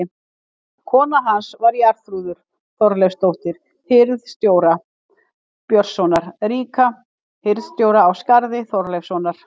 Kona hans var Jarþrúður Þorleifsdóttir hirð- stjóra, Björnssonar ríka, hirðstjóra á Skarði, Þorleifssonar.